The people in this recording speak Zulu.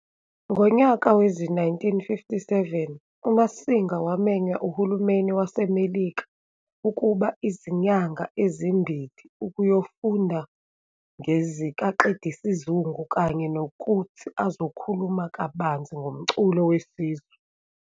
Ngonyaka wezi-1957 uMasinga wamenywa uHulumeni waseMelika ukuba izinyanga ezimbili ukuyofunda ngezikaqedisizungu kanye nokuthi azokhuluma kabanzi ngomculo wesiZu